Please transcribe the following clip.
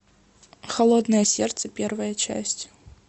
холодное сердце первая часть